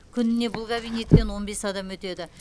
күніне бұл кабинеттен он бес адам өтеді